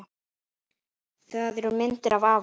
Það eru myndir af afa